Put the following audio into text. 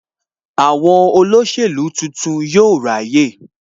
Àwọn olóṣèlú tuntun yóò ráyè